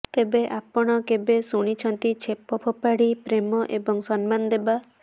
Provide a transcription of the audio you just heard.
ତେବେ ଆପଣ କେବେ ଶୁଣିଛନ୍ତି ଛେପ ଫୋପାଡ଼ି ପ୍ରେମ ଏବଂ ସମ୍ମାନ ଦେବା